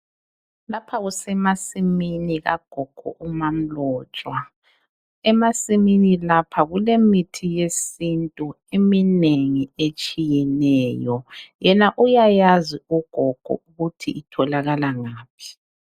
Lapha kusemasimini kagogo umaMlotshwa emasimini lapha kulemithi yesiNtu eminengi etshiyeneyo yena uyayazi ugogo ukuthi itholakala ngaphi.